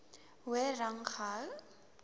hoër rang gehou